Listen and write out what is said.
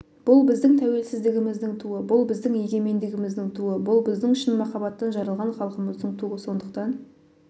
бұл біздің тәуелсіздігіміздің туы бұл біздің егемендігіміздің туы бұл біздің шын махаббаттан жаралған халқымыздың туы сондықтан